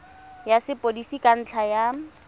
ya sepodisi ka ntlha ya